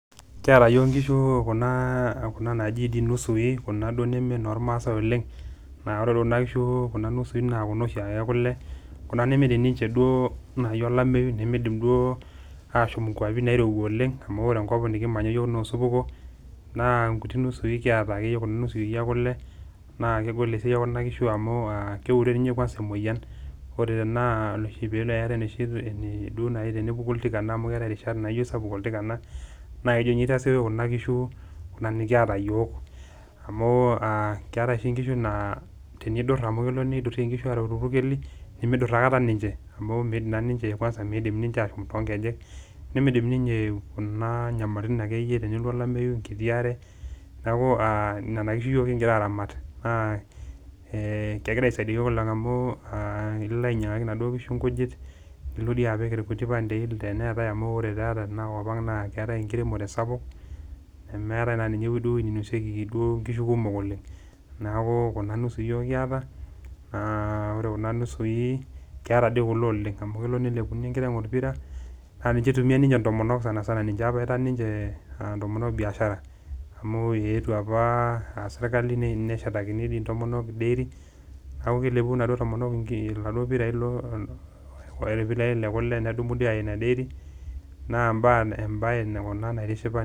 Kiata yiok nkishu kuna naaji inusui Kuna duo neme normasai oleng, naa ore doi kuna kishu Kuna nusui naa noshiake ekule ,Kuna nemeidim duo naji olemeyu nemeidim duo ashomo ikwapi nairowua oleng amu ore enkop nikimanya yiok naa osupuko naa nkuti nusui kiata kuna enkule naa kegol esiai eneba kishu amu keure kwanza ninye emoyian, ore irishat amu keeta rishata naapuku oltikanna naa kejo ninye aitasioyo kuna kishu Kuna nikiata yiok amu keetae nkishu naa tenidur amu keyau neidurieki nkishu aareu irpurkeli, nimidur naa aikata ninche amu nidim naa ninche ashomo toonkejenk, nemeidim akeyie kuna nyamalitin tenelotu olameyu enkiti aare ,neeku nena kishu yiok kingira aramat naa kegira aisaidia yiok amu ilo ainyangaki naduo kishu nkujit nilo apik irpandei teneeta amu ore teinakop ang naa keetae enkiremore sapuk, nemeetae naa eweji duo nenosieki nkishu kumok oleng ,neeku Kuna nusui yiok kiata naa ore kuna nusui keeta doi kule oleng amu kelo nelepuni enkiteng orpira naa ninye eitumiyia ntomonok sanisana ninche ataa apa ninche ntomonok biashara, amu eetuo apa serkali neshetakini ntomonok dairy neeku keleopu naduo tomonko irpirai lekule nedumu aya ina dairy naa embae ena naitishipa .